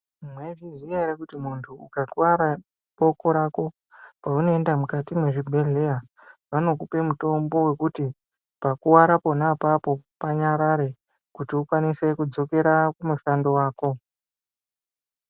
Mwaizviziya ere kuti muntu ukakwara boko rako paunoenda mukati mwezvibhedhlera vanokupe mutombo wekuti pakuwara pona apapo panyarare kuti ukwanise kudzokera kumushando wako.